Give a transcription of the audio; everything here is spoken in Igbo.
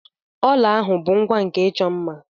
ọla bụ ihe ngwa nke ịchọ mma